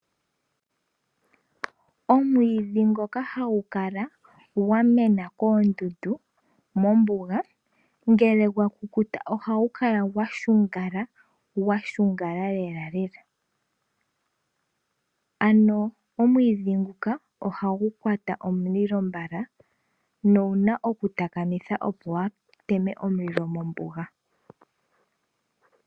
Oomwiidhi ngoka hagu kala gwamena koondundu mombuga ngele gwa kukuta ohagu kala gwashungala lela. Ano omwiidhi nguka ohagu kwata omulilo mbala nowuna okutakamitha opo kuuteme omulilo mombuga.